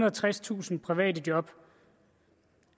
og tredstusind private job